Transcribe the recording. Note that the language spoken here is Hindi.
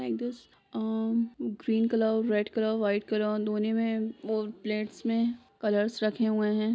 अ green colour red colour white colour धोने मे बॉ प्लेट्स मे कलर्स रखे हुए है।